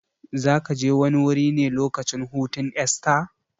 Zakaje wani wuri ne lokacin hutun Esta?